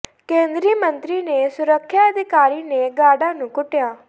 ਕੇਂਦਰੀ ਮੰਤਰੀ ਦੇ ਸੁਰੱਖਿਆ ਅਧਿਕਾਰੀ ਨੇ ਗਾਰਡਾਂ ਨੂੰ ਕੁੱਟਿਆ